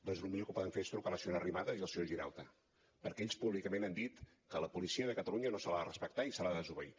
doncs el millor que poden fer és trucar a la senyora arrimadas i al senyor girauta perquè ells públicament han dit que a la policia de catalunya no se l’ha de respectar i se l’ha de desobeir